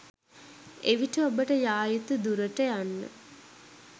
එවිට ඔබට යා යුතු දුරට යන්න